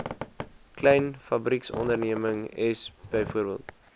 klein fabrieksondernemings bv